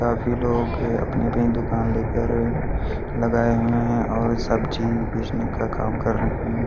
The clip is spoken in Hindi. काफी लोग अपनी अपनी दुकान लेकर लगाए हुए हैं और सब्जी बेचने का काम कर रहे हैं।